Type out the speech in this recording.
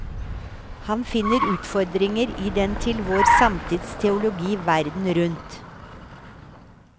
Han finner utfordringer i den til vår samtids teologi verden rundt.